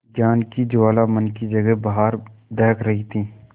ज्ञान की ज्वाला मन की जगह बाहर दहक रही थी